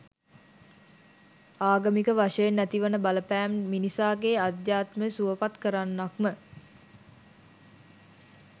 ආගමික වශයෙන් ඇති වන බලපෑම මිනිසාගේ අධ්‍යාත්මය සුවපත් කරන්නක්ම